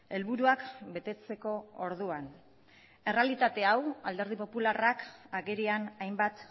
helburuak betetzeko orduan errealitate hau alderdi popularrak agerian hainbat